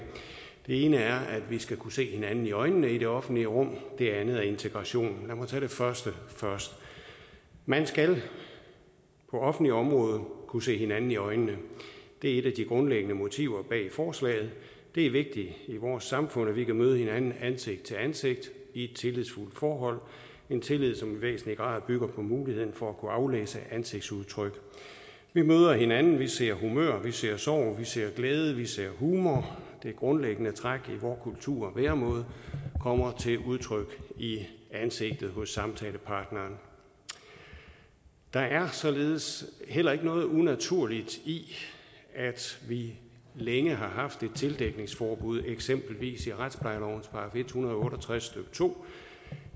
det ene er at vi skal kunne se hinanden i øjnene i det offentlige rum og det andet er integration lad mig tage det første først man skal på offentligt område kunne se hinanden i øjnene det er et af de grundlæggende motiver bag forslaget det er vigtigt i vores samfund at vi kan møde hinanden ansigt til ansigt i et tillidsfuldt forhold en tillid som i væsentlig grad bygger på muligheden for at kunne aflæse ansigtsudtryk vi møder hinanden vi ser humør vi ser sorg vi ser glæde vi ser humor det grundlæggende træk i vor kultur og væremåde kommer til udtryk i ansigtet hos samtalepartneren der er således heller ikke noget unaturligt i at vi længe har haft et tildækningsforbud eksempelvis i retsplejelovens § en hundrede og otte og tres stykke to